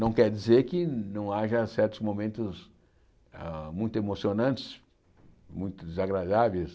Não quer dizer que não haja certos momentos hã muito emocionantes, muito desagradáveis.